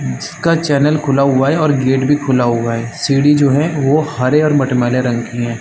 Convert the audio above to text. नीचे का चैनल खुला हुआ है और गेट भी खुला हुआ है सीढ़ी जो है वो हरे और मट मैले रंग की है ।